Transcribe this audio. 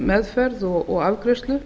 meðferð og afgreiðslu